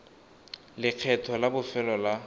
le lekgetho la bofelo la